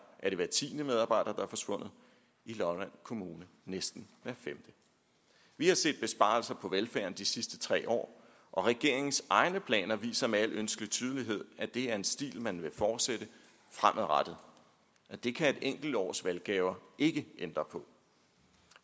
er det hver tiende medarbejder der er forsvundet i lolland kommune næsten hver femte vi har set besparelser på velfærden de sidste tre år og regeringens egne planer viser med al ønskelig tydelighed at det er en stil man vil fortsætte fremadrettet det kan et enkelt års valggaver ikke ændre på